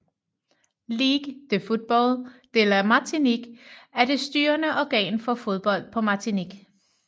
Ligue de football de la Martinique er det styrende organ for fodbold på Martinique